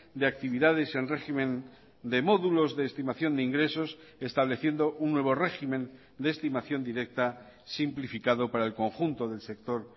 de actividades en régimen de módulos de estimación de ingresos estableciendo un nuevo régimen de estimación directa simplificado para el conjunto del sector